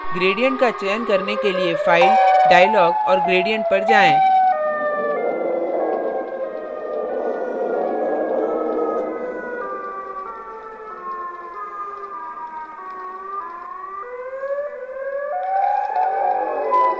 gradients का चयन करने के लिए फ़ाइल dialogs और gradients पर जाएँ